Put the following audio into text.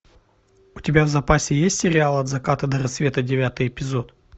у тебя в запасе есть сериал от заката до рассвета девятый эпизод